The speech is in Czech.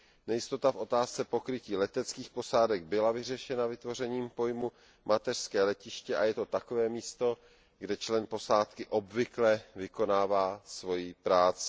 Nejistota v otázce pokrytí leteckých posádek byla vyřešena vytvořením pojmu mateřské letiště, a je to takové místo, kde člen posádky obvykle vykonává svoji práci.